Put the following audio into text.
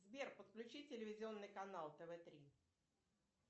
сбер подключи телевизионный канал тв три